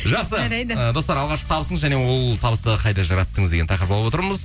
жақсы жарайды ы достар алғашқы табысыңыз және ол табысты қайда жараттыңыз деген тақырып алып отырмыз